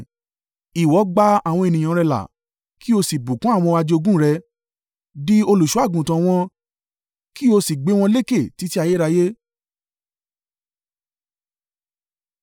Ìwọ gba àwọn ènìyàn rẹ là, kí o sì bùkún àwọn ajogún rẹ; di olùṣọ́-àgùntàn wọn, kí o sì gbé wọn lékè títí ayérayé.